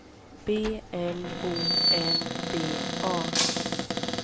B L O N D A